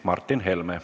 Martin Helme.